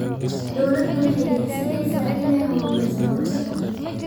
Dawladdu waxay higsanaysaa inay horumariso nolosha qaxootiga.